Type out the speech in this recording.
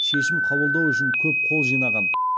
шешім қабылдауы үшін көп қол жинаған